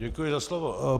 Děkuji za slovo.